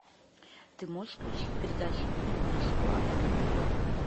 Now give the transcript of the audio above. ты можешь включить передачу инглиш клаб на тв